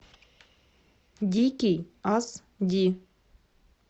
дикий ас ди